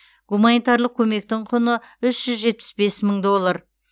гуманитарлық көмектің құны үш жүз жетпіс бес мың доллар